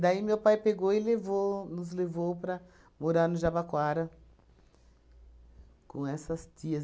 Daí meu pai pegou e levou nos levou para morar no Jabaquara com essas tias.